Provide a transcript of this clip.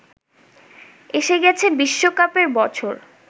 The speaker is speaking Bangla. এসে গেছে বিশ্বকাপের বছর